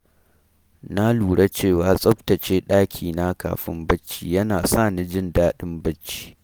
Na lura cewa tsaftace ɗakina kafin barci yana sa ni jin daɗin bacci